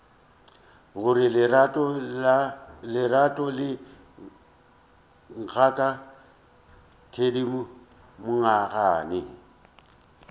gore lerato le ngaka thedimogane